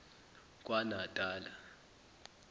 kwanatana